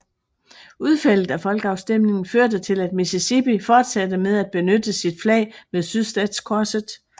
Udfaldet af folkeafstemningen førte til at Mississippi fortsatte med at benytte sit flag med sydstatskorset